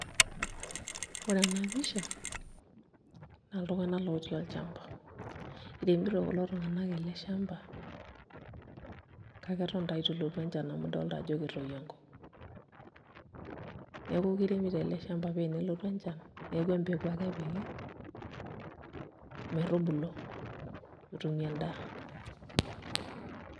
Ore ena pisha naa iltung'anak lootii olchamba, iremito kulo tung'anak ele shamba kake eton taa itu elotu enchan amu idol ajo ketoyio enkop neeku kiremiito ele shamba ore pee elotu enchan neeku empeku ake epiki metubulu, netumi endaa.